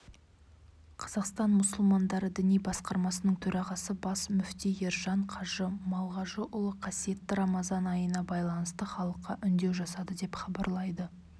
қазақстан мұсылмандары діни басқармасының төрағасы бас мүфти ержан қажы малғажыұлы қасиетті рамазан айына байланысты халыққа үндеу жасады деп хабарлайды